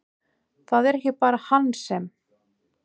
Það er ekki bara hann sem!